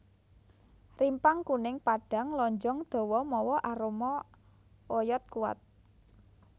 Rimpang kuning padhang lonjong dawa mawa aroma oyod kuwat